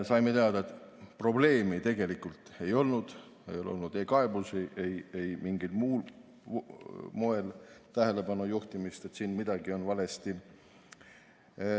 Saime teada, et probleemi tegelikult ei olnud, ei ole olnud ei kaebusi, ei mingil muul moel tähelepanu juhtimist, et siin on midagi valesti.